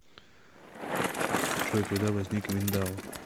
джой когда возник виндау